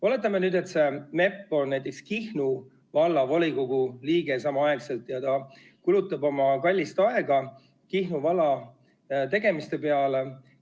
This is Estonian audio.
Oletame nüüd, et see MEP on näiteks samaaegselt Kihnu Vallavolikogu liige ja kulutab oma kallist aega Kihnu valla tegemiste peale.